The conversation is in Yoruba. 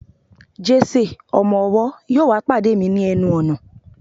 Jese, ọmọ ọwọ, yíò wá pade mi ni enu ọnà